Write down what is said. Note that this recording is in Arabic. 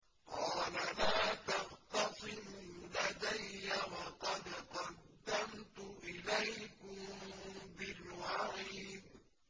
قَالَ لَا تَخْتَصِمُوا لَدَيَّ وَقَدْ قَدَّمْتُ إِلَيْكُم بِالْوَعِيدِ